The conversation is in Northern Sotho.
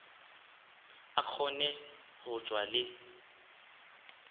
a kgone go tšwa le